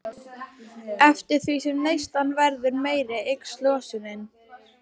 Eftir því sem neyslan verður meiri eykst losunin.